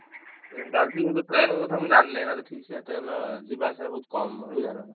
Train ଚାଲିଛି କିନ୍ତୁ train କଥା ମୁଁ ଜାଣିନି ଠିକସେ ଟ୍ରେନ ଯିବା ଆସିବା ବହୁତ କମ ବୁଝିଲ ନା ନାହିଁ।